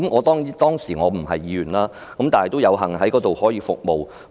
雖然當時我不是議員，但仍有幸為醫管局服務。